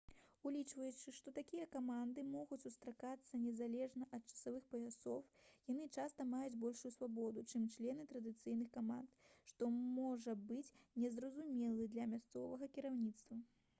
улічваючы што такія каманды могуць сустракацца незалежна ад часовых паясоў яны часта маюць большую свабоду чым члены традыцыйных каманд што можа быць не зразумелым для мясцовага кіраўніцтва